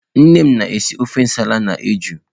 Nne m na-esi ofe nsala na ejụụ.